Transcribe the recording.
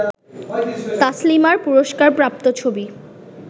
তাসলিমার পুরস্কারপ্রাপ্ত ছবি